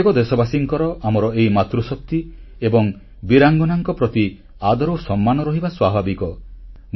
ପ୍ରତ୍ୟେକ ଦେଶବାସୀଙ୍କର ଆମର ଏହି ମାତୃଶକ୍ତି ଓ ବୀରାଙ୍ଗନାମାନଙ୍କ ପ୍ରତି ଆଦରସମ୍ମାନ ରହିବା ସ୍ୱାଭାବିକ